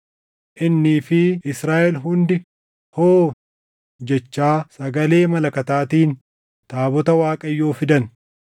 innii fi Israaʼel hundi “hoo” jechaa sagalee malakataatiin taabota Waaqayyoo fidan.